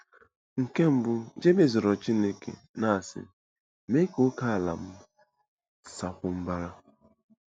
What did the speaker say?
Nke mbụ, Jebez rịọrọ Chineke, na-asị: "Mee ka ókèala m sakwuo mbara."